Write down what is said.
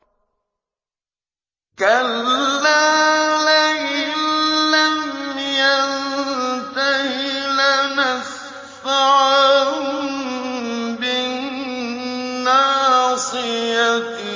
كَلَّا لَئِن لَّمْ يَنتَهِ لَنَسْفَعًا بِالنَّاصِيَةِ